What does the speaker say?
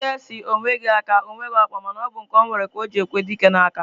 Udide si, onweghi aka, onweghi okpa ma na obu nke onwere ka oji ekwe dike na-aka.